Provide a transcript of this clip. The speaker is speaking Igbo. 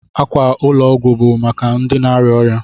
Ákwà ụlọ ọgwụ bụ maka ndị na-arịa ọrịa.